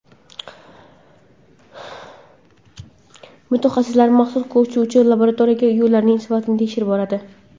Mutaxassislar maxsus ko‘chuvchi laboratoriyalarda yo‘llarning sifatini tekshirib boradi.